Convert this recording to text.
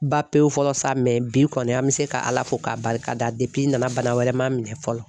Ba pewu fɔlɔ sa bi kɔni an bɛ se ka ala fo k'a barika da na na bana wɛrɛ ma minɛ fɔlɔ.